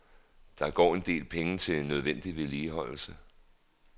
Der går en del penge til nødvendig vedligeholdelse.